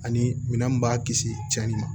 Ani minɛn min b'a kisi cɛnni ma